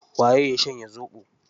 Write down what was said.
Waye ya shanye zoɓo?